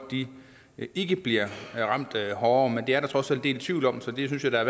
ikke bliver ramt hårdere men det er der trods alt en del tvivl om så det synes jeg da